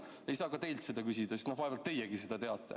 Ei saa ka teilt seda küsida, sest vaevalt teiegi seda teate.